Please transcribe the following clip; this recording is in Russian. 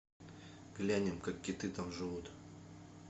глянем как киты там живут